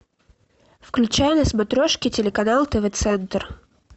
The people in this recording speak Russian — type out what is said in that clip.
включай на смотрешке телеканал тв центр